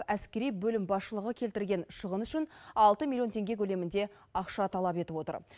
әскери бөлім басшылығы келтірген шығын үшін алты милллион теңге көлемінде ақша талап етіп отыр